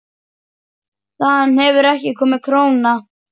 Þaðan hefur ekki komið króna.